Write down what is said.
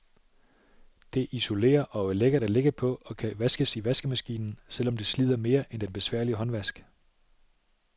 Det isolerer og er lækkert at ligge på, og kan vaskes i vaskemaskinen, selv om det slider mere end den besværlige håndvask.